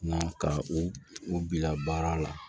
Nka ka u u bila baara la